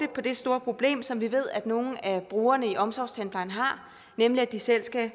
det store problem som vi ved at nogle af brugerne i omsorgstandplejen har nemlig at de selv skal